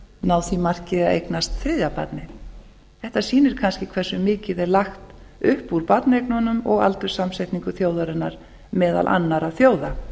ná því marki að eignast þriðja barnið þetta sýnir kannski hversu mikið er lagt upp úr barneignum og aldurssamsetningu þjóðarinnar meðal annarra þjóða